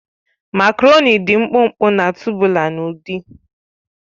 Makaroni dị mkpụmkpụ na tubular n'ụdị